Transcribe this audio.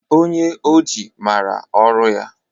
Onye oji maara ọrụ ya.